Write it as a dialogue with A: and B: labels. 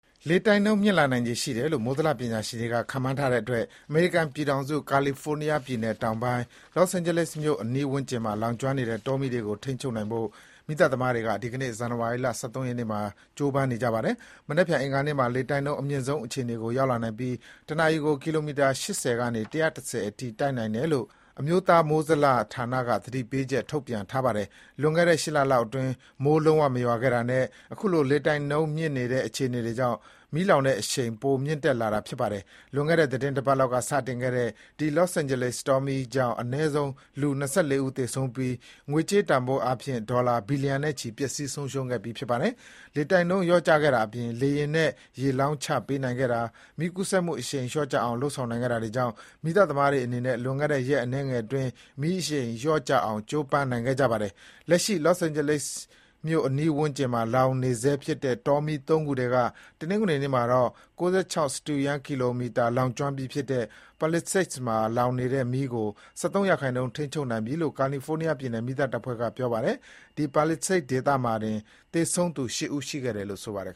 A: လေတိုက်နှုန်းမြင့်လာနိုင်ခြေရှိတယ်လို့ မိုးဇလပညာရှင်တွေက ခန့်မှန်းထားတဲ့အတွက် အမေရိကန်ပြည်ထောင်စု၊ ကာလီဖိုးနီးယားပြည်နယ် တောင်ပိုင်း Los Angeles မြို့အနီးဝန်းကျင်မှာ လောင်ကျွမ်းနေတဲ့တောမီးတွေကို ထိန်းချုပ်နိုင်ဖို့ မီးသတ်သမားတွေဟာ ဒီကနေ့ ဇန်နဝါရီ ၁၃ ရက် နေ့မှာ ကြိုးပမ်းနေကြပါတယ်။ မနက်ဖြန်အင်္ဂါနေ့မှာ လေတိုက်နှုန်းအမြင့်ဆုံးအခြေအနေကို ရောက်လာနိုင်ပြီး တနာရီကို ကီလိုမီတာ ၈၀ ကနေ ၁၁၀ အထိ ရှိနိုင်တယ်လို့ အမျိုးသား မိုးဇလဌာနက သတိပေးချက် ထုတ်ပြန်ထားပါတယ်။ လွန်ခဲ့တဲ့ ၈ လလောက်အတွင်း မိုးလုံးဝမရွာခဲ့တာနဲ့ အခုလို လေတိုက်နှုန်းမြင့်နေတဲ့ အခြေအနေတွေ ကြောင့် မီးလောင်တဲ့အရှိန် ပိုမြင့်တက်လာတာ ဖြစ်ပါတယ်။ လွန်ခဲ့တဲ့ သီတင်း တပတ်လောက်က စတင်ခဲ့တဲ့ ဒီ Los Angeles တောမီးကြောင့် အနည်းဆုံး လူ ၂၄ ဦးသေဆုံးပြီး ငွေကြေးတန်ဖိုးအားဖြင့် ဒေါ်လာ ဘီလီယံနဲ့ချီ ပျက်စီးဆုံးရှုံးခဲ့ပြီး ဖြစ်ပါတယ်။ လေတိုက်နှုန်းလျော့ကျခဲ့တာအပြင် လေယာဉ်နဲ့ ရေလောင်းချပေးနိုင်ခဲ့တာ၊ မီးကူးစက်မှုအရှိန်လျော့ ကျအောင် လုပ်ဆောင်နိုင်ခဲ့တာတွေကြောင့် မီးသတ်သမားတွေအနေနဲ့ လွန်ခဲ့တဲ့ ရက်အနည်းငယ် အတွင်း မီးအရှိန်လျော့ကျအောင် ကြိုးပမ်းနိုင်ခဲ့ကြပါတယ်။ လက်ရှိ Los Angeles အနီးဝန်းကျင်မှာ လောင်နေဆဲဖြစ်တဲ့ တောမီး ၃ ခုထဲက တနင်္ဂနွေနေ့မှာတော့ ၉၆ စတုရန်းကီလိုမီတာ လောင်ကျွမ်းပြီးဖြစ်တဲ့ Palisades မှာလောင်နေတဲ့မီးကို ၁၃ ရာခိုင်နှုန်း ထိန်းချုပ်ထားနိုင်ပြီလို့ ကာလီဖိုးနီးယားပြည်နယ် မီးသတ်တပ်ဖွဲ့က ပြောပါတယ်။ ဒီ Palisades ဒေသမှာတင် သေဆုံးသူ ၈ ဦး ရှိခဲ့တယ်လို့ ဆိုပါတယ်